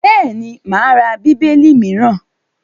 Bẹ́ẹ̀ni, mo má ra Bíbélì mìíràn.